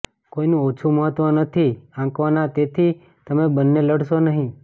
કોઇનું ઓછું મહત્વ નથી આંકવાના તેથી તમે બંને લડશો નહી